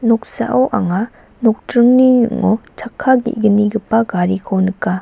noksao anga nokdringni ning·o chakka ge·gnigipa gariko nika.